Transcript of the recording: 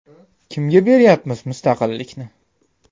Kimga beryapmiz mustaqillikni?